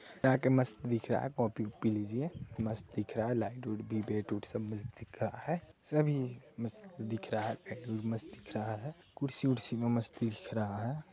जाके मस्त दिख रहा है कॉफ़ी पिलीजिए मस्त दिख रहा है लाइट उत भी बेट उत भी सब मस्त दिख रहा है सब मस्त दिख रहा है पेट्रोल मस्त दिख रहा है कुर्सी वुर्सी भी मस्त दिख रहा है।